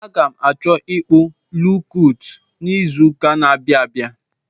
Aga m achọ ịkpụ lookọt n'izuụka n'abịa abịa.